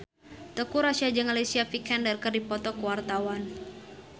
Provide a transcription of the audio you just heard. Teuku Rassya jeung Alicia Vikander keur dipoto ku wartawan